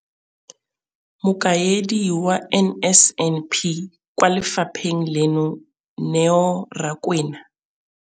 Mokaedi wa NSNP kwa lefapheng leno, Neo Rakwena,